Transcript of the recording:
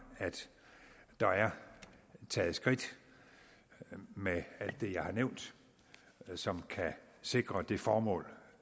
at der er taget skridt med alt det jeg har nævnt som kan sikre det formål